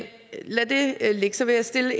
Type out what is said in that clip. lad det ligge så vil jeg stille